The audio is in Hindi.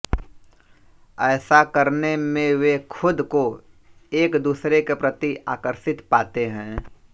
ऐसा करने में वे खुद को एक दूसरे के प्रति आकर्षित पाते हैं